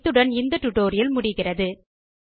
இத்துடன் இந்த டுடோரியல் முடிவுக்கு வருகிறது